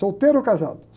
Solteiro ou casado?